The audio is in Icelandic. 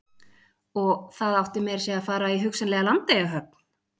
Og það átti meira að segja að fara í hugsanlega Landeyjahöfn?